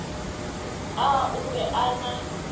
a o be a na